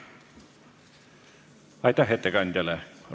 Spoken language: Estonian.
Aitäh ettekandjale!